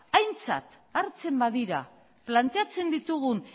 aintzat hartzen badira planteatzen ditugun